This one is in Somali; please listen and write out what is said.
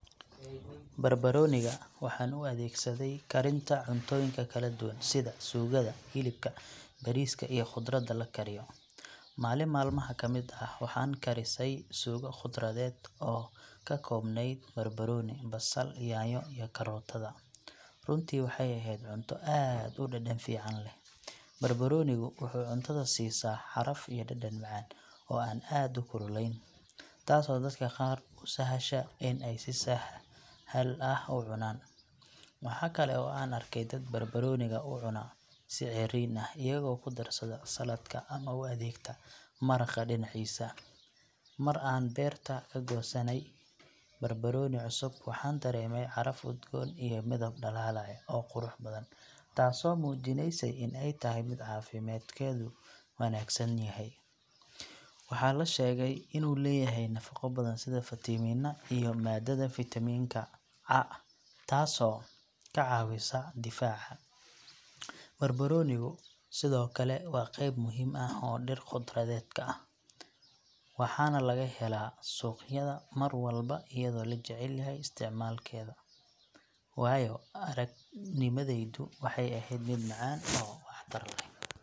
Barbarooniga waxaan u adeegsaday karinta cuntooyin kala duwan sida suugada hilibka, bariiska iyo khudradda la kariyo. Maalin maalmaha ka mid ah waxaan karisay suugo khudradeed oo ka koobnayd barbarooni, basal, yaanyo iyo karootada, runtii waxay ahayd cunto aad u dhadhan fiican leh. Barbaroonigu wuxuu cuntada siisaa caraf iyo dhadhan macaan oo aan aad u kululayn, taasoo dadka qaar u sahasha in ay si sahal ah u cunaan. Waxa kale oo aan arkay dad barbarooniga u cuna si ceeriin ah, iyagoo ku darsada saladka ama u adeegta maraqa dhinaciisa. Mar aan beerta ka goosanay barbarooni cusub, waxaan dareemay caraf udgoon iyo midab dhalaalaya oo qurux badan, taasoo muujinaysay in ay tahay mid caafimaadkeedu wanaagsan yahay. Waxaa la sheegaa in uu leeyahay nafaqo badan sida fiitamiinno iyo maadada faytamiinka C taasoo jirka ka caawisa difaaca. Barbaroonigu sidoo kale waa qayb muhiim ah oo dhir khudradeedka ah, waxaana laga helaa suuqyada mar walba iyadoo la jecel yahay isticmaalkeeda. Waayo-aragnimadaydu waxay ahayd mid macaan oo wax tar leh.